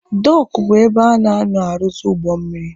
Dọọkụ bụ ebe a na-anọ arụzị ụgbọ mmiri.